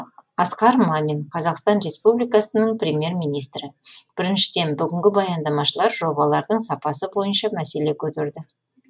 асқар мамин қазақстан республикасының премьер министрі біріншіден бүгінгі баяндамашылар жобалардың сапасы бойынша мәселе көтерді